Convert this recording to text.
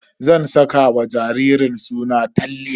Zan saka wa jaririn suna Talle.